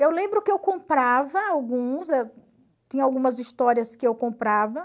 Eu lembro que eu comprava alguns, tinha algumas histórias que eu comprava.